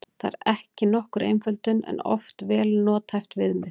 Það er nokkur einföldun en oft vel nothæft viðmið.